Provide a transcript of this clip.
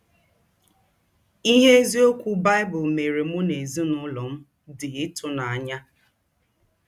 Ihe eziokwu Baịbụl meere mụ na ezinụlọ m dị ịtụnanya.